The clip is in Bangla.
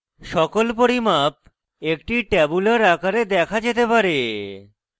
সকল পরিমাপ একটি tabular আকারে দেখা যেতে পারে